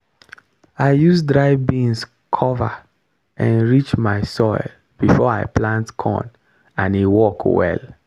i use dry beans cover enrich my soil before i plant corn and e work well.